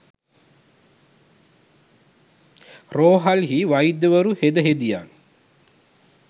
රෝහල්හි වෛද්‍යවරු හෙද හෙදියන්